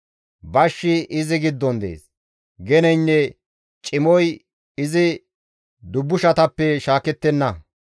Bashshi izi giddon dees; geneynne cimoy izi dubbushatappe shaakettenna.